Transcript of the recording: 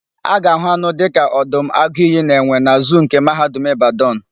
A ga-àhụ́ anụ dịka ọdụm, agụ iyi na enwe na zuu nke Mahadum Ịbadanụ.